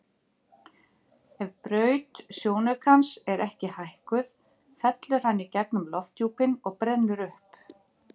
Ef braut sjónaukans er ekki hækkuð fellur hann í gegnum lofthjúpinn og brennur upp.